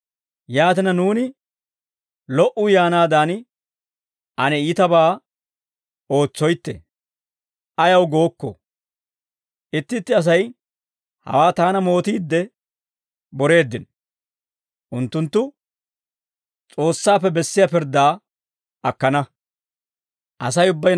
Yaatina nuuni, «Lo"uu yaanaadan, ane iitabaa ootsoytte» ayaw gookkoo? Itti itti Asay hawaa taana mootiidde boreeddino; unttunttu S'oossaappe bessiyaa pirddaa akkana.